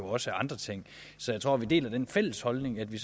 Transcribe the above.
også af andre ting så jeg tror vi har den fælles holdning at vi